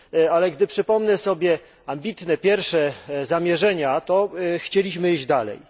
Ale gdy przypomnę sobie ambitne pierwsze zamierzenia, to chcieliśmy iść dalej.